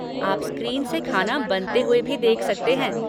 आप स्क्रीन से खाना बनते हुए भी देख सकते हैं।